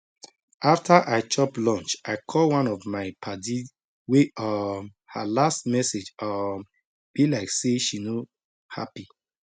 after i chop lunch i call one of my padi wey um her last message um be like say she no happy